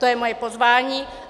To je moje pozvání.